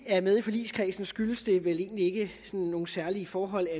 er med i forligskredsen skyldes det vel egentlig ikke nogen særlige forhold